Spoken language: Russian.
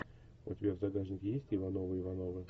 у тебя в загашнике есть ивановы ивановы